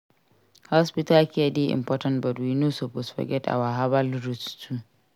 Hospital care dey important but we no suppose forget our herbal roots too.